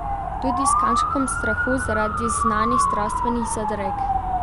Tudi s kančkom strahu zaradi znanih zdravstvenih zadreg.